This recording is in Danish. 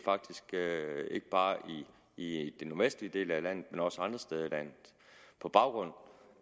ikke bare i den nordvestlige del af landet men også andre steder på baggrund